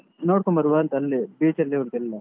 ನೋಡ್ಕೊಂಡು ಬರುವ ಅಂತ ಅಲ್ಲೇ beach ಅಲ್ಲೇ ಉಂಟು ಎಲ್ಲ.